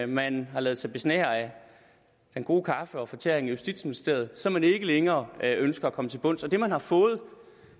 man har ladet sig besnære af den gode kaffe og fortæring i justitsministeriet så man ikke længere ønsker at komme til bunds og det man har fået